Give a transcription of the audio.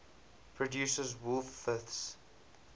produces wolf fifths